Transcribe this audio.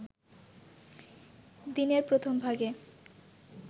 দিনের প্রথমভাগে